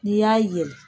N'i y'a yɛlɛ